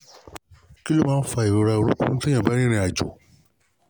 kí ló máa ń fa ìrora orunkun nígbà tó o bá ń rìnrìn àjò?